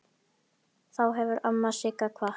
Þá hefur amma Sigga kvatt.